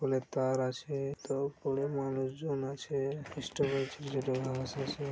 pole -এর তার আছে তো পোল -এর মানুষ জন আছে